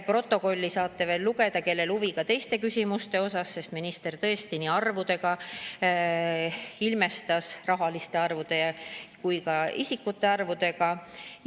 Protokolli saate veel lugeda, kui teil on huvi ka teiste küsimuste vastu, sest minister tõesti ilmestas nii rahaliste arvude kui ka isiklike arvudega.